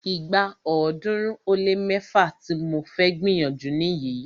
Ìgbà ọ̀ọ́dúnrún ó lé mẹ́fá tí mo fẹ́ gbìyànjú nìyí.